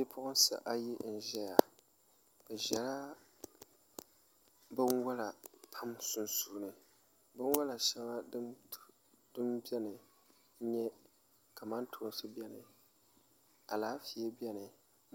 Bipuɣunsi ayi n ʒɛya bi ʒɛla binwola pam sunsuuni binwola shɛli din biɛni n nyɛ kamantoosi biɛni alaafee biɛni